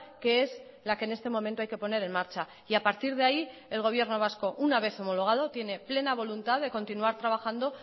que es la que en este momento hay que poner en marcha y a partir de ahí el gobierno vasco una vez homologado tiene plena voluntad de continuar trabajando